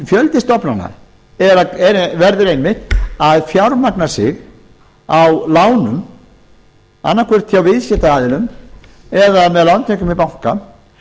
fjöldi stofnana verður einmitt að fjármagna sig á lánum annaðhvort hjá viðskiptaaðilum eða með lántökum við bankann